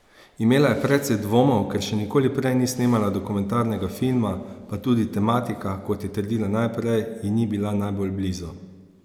Imela je precej dvomov, ker še nikoli prej ni snemala dokumentarnega filma, pa tudi tematika, kot je trdila najprej, ji ni bila najbolj blizu.